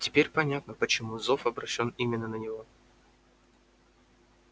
теперь понятно почему зов обращён именно на него